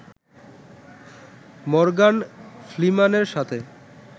Morgan ফ্রিম্যানের সাথে